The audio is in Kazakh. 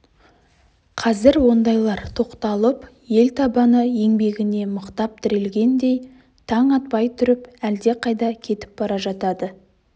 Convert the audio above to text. қазір ондайлар тоқталып ел табаны еңбегіне мықтап тірелгендей таң атпай тұрып әлдеқайда кетіп бара жатады